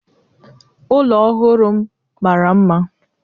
ụlọ ọhụrụ m mara mma